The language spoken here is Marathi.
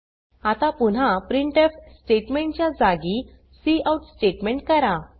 आता पुन्हा प्रिंटफ स्टेटमेंट च्या जागी काउट स्टेटमेंट करा